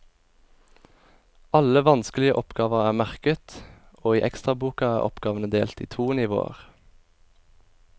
Alle vanskelige oppgaver er merket, og i ekstraboka er oppgavene delt i to nivåer.